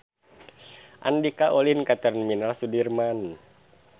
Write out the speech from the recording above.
Andika ulin ka Terminal Sudirman